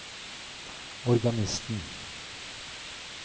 organisten